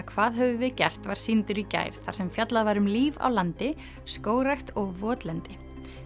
hvað höfum við gert var sýndur í gær þar sem fjallað var um líf á landi skógrækt og votlendi